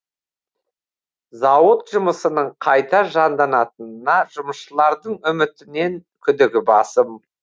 зауыт жұмысының қайта жанданатынына жұмысшылардың үмітінен күдігі басым